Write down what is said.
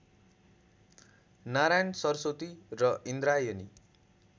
नारायण सरस्वती र इन्द्रायणी